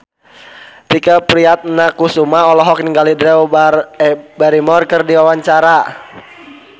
Tike Priatnakusuma olohok ningali Drew Barrymore keur diwawancara